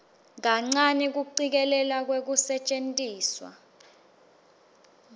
kuncane kucikelelwa kwekusetjentiswa